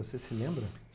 Você se lembra?